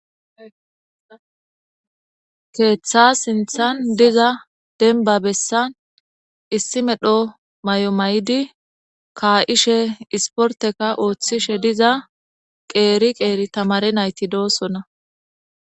Keeththa sinthan diza denba bessan issi medho may'o may'idi kaa'ishe isporteka ooththishe diza qeeri qeeri tamare nayti doossona.